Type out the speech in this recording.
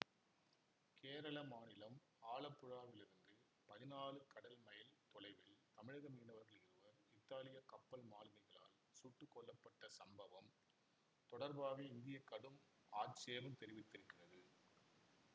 கேரள மாநிலம் ஆலப்புழாவிலிருந்து பதினான்கு கடல்மைல் தொலைவில் தமிழக மீனவர்கள் இருவர் இத்தாலிய கப்பல் மாலுமிகளால் சுட்டுக்கொல்லப்பட்ட சம்பவம் தொடர்பாக இந்தியா கடும் ஆட்சேபம் தெரிவித்திருக்கிறது